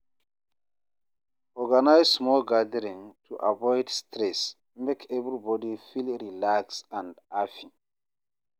Organize small gatherings to avoid stress; make everybody feel relaxed and happy.